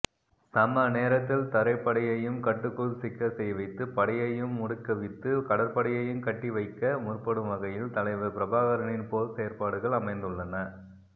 சம நேரத்தில் தரைப்படையையும கட்டுக்குள் சிக்கச்செய்வித்து படையையும முடக்குவித்து கடறபடையையும கட்டிவைகக முற்படும் வகையில் தலைவர் பிரபாகரனின் போர்ச்செயற்பாடுகள் அமைந்துள்ளன